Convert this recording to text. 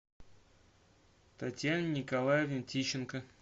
татьяне николаевне тищенко